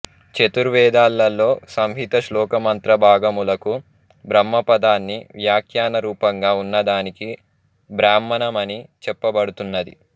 చతుర్వేదాలలోని సంహిత శ్లోక మంత్ర భాగములకు బ్రహ్మ పదాన్ని వ్యాఖ్యాన రూపంగా ఉన్నదానికి బ్రాహ్మణం అని చెప్పబడు తున్నది